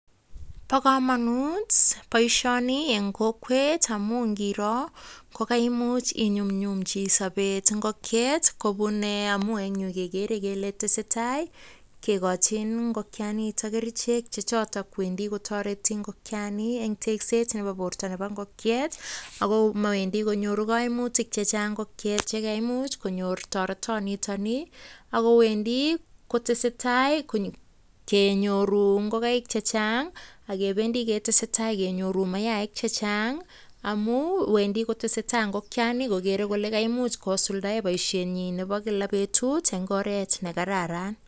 Bo kamanut boisioni eng kokwet amu ngiro, ko kaimuch inyumnyumchi sobet ngokiet kobun, amu eng yu agere kele tesetai kegochin ngokianitok kerichek che chotok kowendi kotoreti ngokiani eng teskset nebo borto nebo ngokiet. Ago mawendi konyoru kaimutik chechang ngokiet, ye kaimuch konyor toretonitoni, ago wendi kotesetai kenyoru ngokaik chechang, agebendi ketesetai kenyoru mayaik checheang, amu wendi kotesetai ngokiani kogere kole kaimuch kosuldae boisiet nyi nebo kila betut eng oret ne kararan.